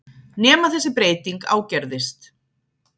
Nema þessi breyting ágerðist.